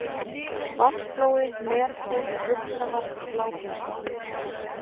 Vatnsflói, Meltún, Uxavatn, Bláfinnsvatn